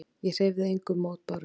Ég hreyfði engum mótbárum.